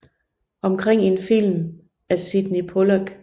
Omkring en film af Sydney Pollack